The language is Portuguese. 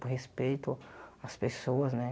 Por respeito às pessoas, né?